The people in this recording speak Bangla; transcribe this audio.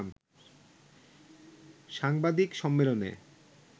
সাংবাদিক সম্মেলনে